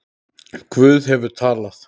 Guð hefur talað.